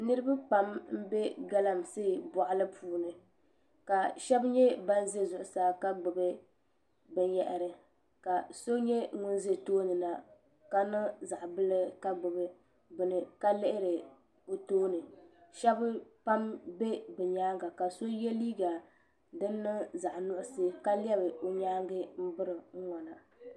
Niraba pam n bɛ galamsee boɣali puuni ka shab nyɛ ban ʒɛ zuɣusaa ka gbubi ka so nyɛ ŋun ʒɛ tooni na ka niŋ zaŋ bili ka gbubi ka lihiri o tooni shab pam bɛ bi nyaanga ka so yɛ liiga din niŋ zaɣ nuɣso ka lɛbi o nyaangi n biri n ŋona